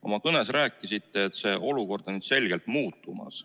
Oma kõnes rääkisite, et see olukord on selgelt muutumas.